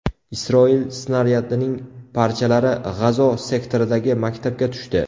Isroil snaryadining parchalari G‘azo sektoridagi maktabga tushdi.